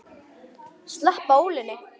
Sleppa ólinni.